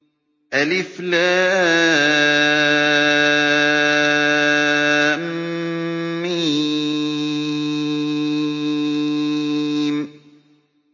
الم